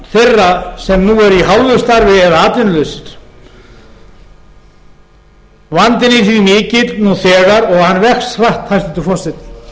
þeirra sem nú eru í hálfu starfi eða atvinnulausir vandinn er því mikill nú þegar og hann vex hratt hæstvirtur forseti